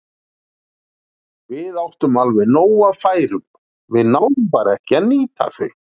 Við áttum alveg nóg af færum, við náðum bara ekki að nýta þau.